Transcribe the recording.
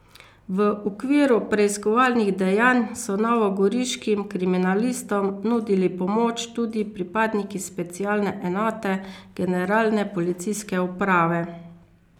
V okviru preiskovalnih dejanj so novogoriškim kriminalistom nudili pomoč tudi pripadniki specialne enote Generalne policijske uprave.